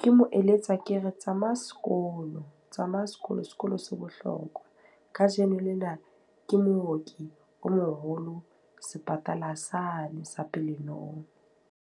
Ke mo eletsa ke re, tsamaya sekolo. Tsamaya sekolo, sekolo se bohlokwa. Ka jeno lena ke mooki o moholo sepatala sane sa Pelenomi.